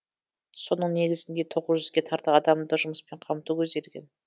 соның негізінде тоғыз жүзге тарта адамды жұмыспен қамту көзделген